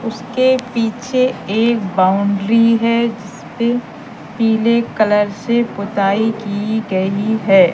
उसके पीछे एक बाउंड्री है जिसपे पीले कलर से पुताई की गई है।